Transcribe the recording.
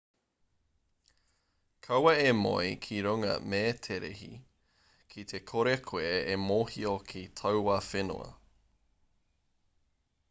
kaua e moe ki runga mēterehi ki te kore koe e mōhio ki taua whenua